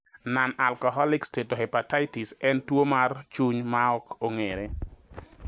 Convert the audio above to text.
Nonalcoholic steatohepatitis en tuo mar chuny maok ong`ere.